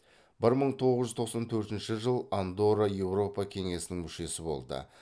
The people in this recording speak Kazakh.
бір мың тоғыз жүз тоқсан төртінші жыл андорра еуропа кеңесінің мүшесі болды